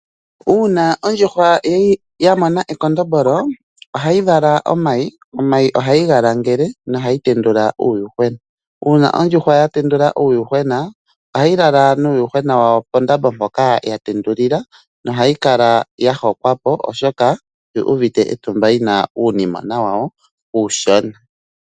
Uuna ondjuhwa ya mona ekondombolo ohayi vala omayi. Omayi ohayi ga langele nohayi tendula uuyuhwena. Uuna ondjuhwa ya tendula uuyuhwena, ohayi lala nuuyuhwena wayo pondambo mpoka ya tendulila, ohayi kala ya hokwa po, oshoka oyu uvite etumba yina uunimona wayo uushona.